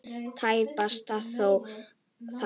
Tæpast þó þar.